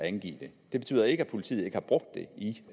at angive det det betyder ikke at politiet ikke har brugt det i